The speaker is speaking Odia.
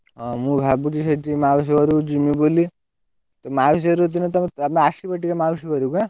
ହଁ ମୁଁ ଭାବୁଛି ସେଇ ଟିକେ ମାଉସୀ ଘରକୁ ଜିମି ବୋଲି, ମାଉସୀ ଘରକୁ ଦିନେ ତମେ ତମେ ଆସିବ ଟିକେ ମାଉସୀ ଘରକୁ ଏଁ।